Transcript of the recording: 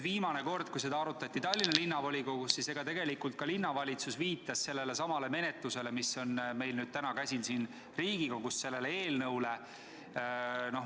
Viimane kord, kui seda arutati Tallinna Linnavolikogus, tegelikult ka linnavalitsus viitas sellelesamale eelnõule, mis meil täna siin Riigikogus käsil on.